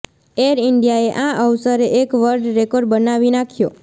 air ઈન્ડિયાએ આ અવસરે એક વર્લ્ડ રેકોર્ડ બનાવી નાખ્યો